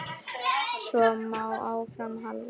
Svo má áfram halda.